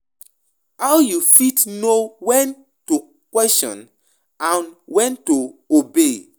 how you fit know when to question and when to obey?